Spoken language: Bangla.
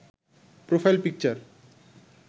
profile picture